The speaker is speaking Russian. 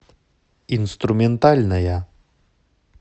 инструментальная